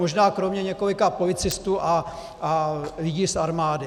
Možná kromě několika policistů a lidí z armády.